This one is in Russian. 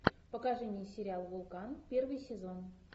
покажи мне сериал вулкан первый сезон